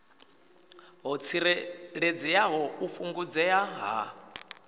ho tsireledzeaho u fhungudzea ha